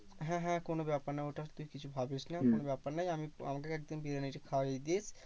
হ্যাঁ হ্যাঁ কোনো ব্যাপার না। ওটা তুই কিছু ভাবিস না কোনো ব্যাপার নেই, আমি আমাকে একদিন বিরিয়ানিটা খাইয়ে দিস।